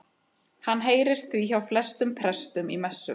Hann heyrist því hjá flestum prestum í messum.